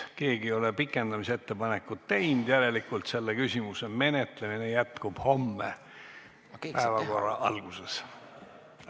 Keegi ei ole pikendamise ettepanekut teinud, järelikult selle küsimuse menetlemine jätkub homme päevakorra alguses.